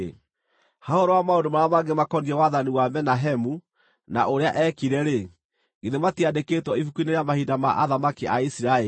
Ha ũhoro wa maũndũ marĩa mangĩ makoniĩ wathani wa Menahemu, na ũrĩa eekire-rĩ, githĩ matiandĩkĩtwo ibuku-inĩ rĩa mahinda ma athamaki a Isiraeli?